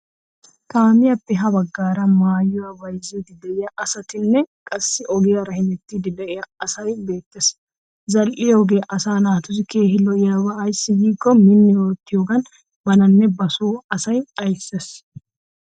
Kaamiyaappe ha baggaara maayuwaa bayzziiddi diya asatinne qassi ogiyaara hemettiiddi diya asy beettes. Zal'iyoogee asa naatussi keehin lo''oba ayssi giikko minni oottiyoogan bananne basoo asaa aysses.